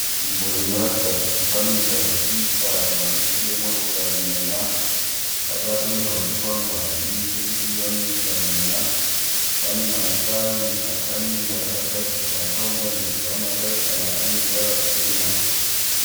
Nzvimbo inoratidza kuti panoita zvekuisa mavhiri emotokari mweya. Pakatonyorwa chikwangwani chekuti vanoisa mweya. Panematayi akamira akagadzikwa akaunganidzwa. Matayi aya aneruvara rwutema.